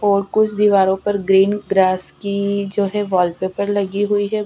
और कुछ दीवारों पर ग्रीन ग्रास की जो है वॉलपेपर लगी हुई है --